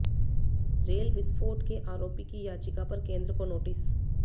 rail विस्फोट के आरोपी की याचिका पर केंद्र को नोटिस